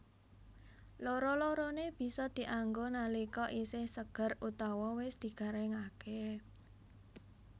Loro loroné bisa dianggo nalika isih seger utawa wis digaringaké